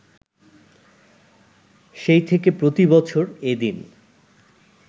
সেই থেকে প্রতিবছর এ দিন